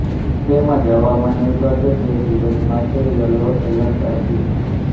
તેમજ હવામાન વિભાગે બે દિવસ માટે યલો એલર્ટ આપ્યું છે